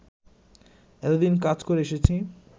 এতদিন কাজ করে এসেছি